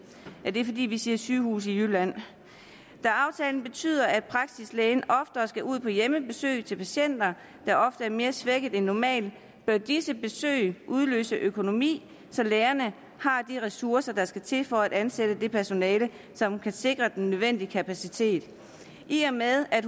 vi vi siger sygehuse i jylland da aftalen betyder at praksislægen oftere skal ud på hjemmebesøg til patienter der ofte er mere svækket end normalt bør disse besøg udløse økonomi så lægerne har de ressourcer der skal til for at ansætte det personale som kan sikre den nødvendige kapacitet i og med at